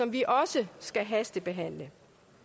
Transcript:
vi også hastebehandle